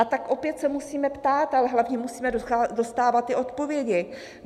A tak opět se musíme ptát, ale hlavně musíme dostávat ty odpovědi.